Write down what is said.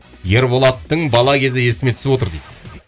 ерболаттың бала кезі есіме түсіп отыр дейді